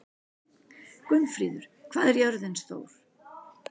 Gunnfríður, hvað er jörðin stór?